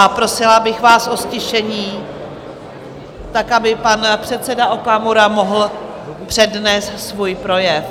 A prosila bych vás o ztišení tak, aby pan předseda Okamura mohl přednést svůj projev.